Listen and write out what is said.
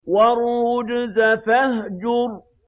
وَالرُّجْزَ فَاهْجُرْ